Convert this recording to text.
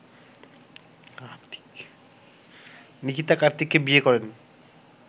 নিকিতা কার্তিককে বিয়ে করেন